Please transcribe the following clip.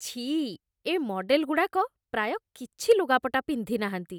ଛି! ଏ ମଡେଲ୍‌ଗୁଡ଼ାକ ପ୍ରାୟ କିଛି ଲୁଗାପଟା ପିନ୍ଧିନାହାନ୍ତି ।